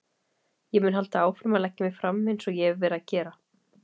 Ég mun halda áfram að leggja mig fram eins og ég hef verið að gera.